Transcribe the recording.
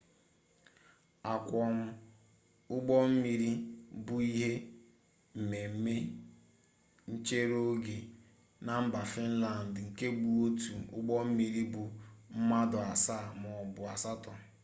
akwọm ụgbọmmiri bụ ihe mmemme nchereoge na mba finlandị nke bụ otu ụgbọmmiri ibu mmadụ asaa maọbụ asatọ